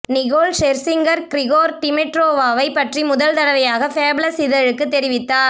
Nicole Scherzinger Grigor டிமிட்ரோவாவைப் பற்றி முதல் தடவையாக ஃபேபலஸ் இதழுக்குத் தெரிவித்தார்